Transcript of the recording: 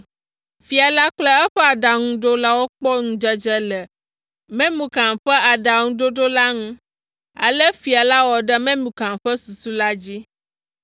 Fia la kple eƒe aɖaŋuɖolawo kpɔ ŋudzedze le Memukan ƒe aɖaŋuɖoɖo la ŋu, ale fia la wɔ ɖe Memukan ƒe susu la dzi.